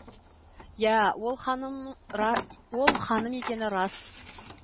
иә ол ханым екені рас